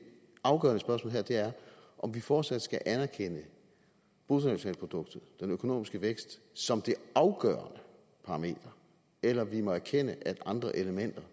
afgørende spørgsmål her er om vi fortsat skal anerkende bruttonationalproduktet den økonomiske vækst som det afgørende parameter eller om vi må erkende at andre elementer